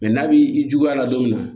n'a b'i juguya a la don min na